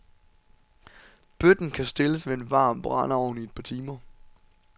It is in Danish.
Bøtten kan stilles ved en varm brændeovn i et par timer.